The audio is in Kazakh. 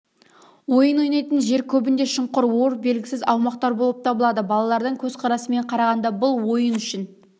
ойын ойнайтын жер көбінде шұңқыр ор белгісіз аумақтар болып табылады балалардың көзқарасымен қарағанда бұл ойын үшін